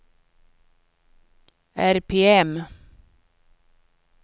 RPM